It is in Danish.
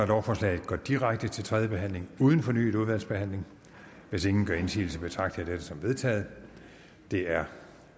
lovforslaget går direkte til tredje behandling uden fornyet udvalgsbehandling hvis ingen gør indsigelse betragter jeg dette som vedtaget det er